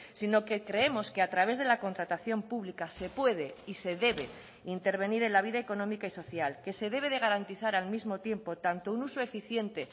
sino que creemos que a través de la contratación pública se puede y se debe intervenir en la vida económica y social que se debe de garantizar al mismo tiempo tanto un uso eficiente